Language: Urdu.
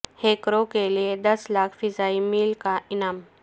ہیکروں کے لیے دس لاکھ فضائی میل کا انعام